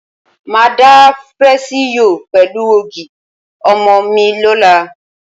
Màá da fresi yóò pẹ̀lú ògì ọmọ mi lọ́la.